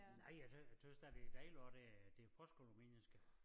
Nej jeg tøs da det dejligt også der er det forskel på mennesker